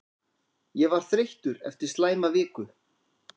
Ég var þreyttur eftir slæma viku.